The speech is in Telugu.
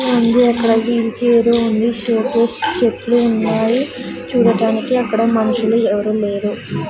ఉంది అక్కడ వీల్ చైర్ ఉంది సోకేస్ చెట్లు ఉన్నాయి చూడటానికి అక్కడ మనుషులు ఎవరూ లేరు.